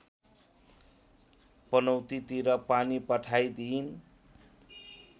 पनौतीतिर पानी पठाइदिइन्